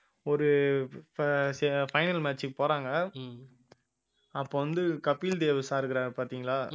ஒரு ப~ final match க்கு போறாங்க அப்ப வந்து கபில்தேவ் sir இருக்காரு பார்த்தீங்களா